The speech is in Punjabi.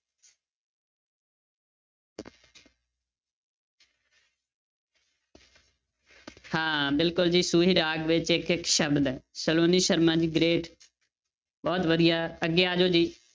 ਹਾਂ ਬਿਲਕੁਲ ਜੀ ਸੂਹੀ ਰਾਗ ਵਿੱਚ ਇੱਕ ਇੱਕ ਸ਼ਬਦ ਹੈ, ਸਲੋਨੀ ਸ਼ਰਮਾ ਜੀ great ਬਹੁਤ ਵਧੀਆ ਅੱਗੇ ਆ ਜਾਓ ਜੀ।